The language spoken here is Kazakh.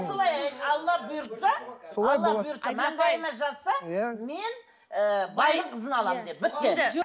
солай айт алла бұйыртса солай болады маңдайыма жазса мен ы байдың қызын аламын де бітті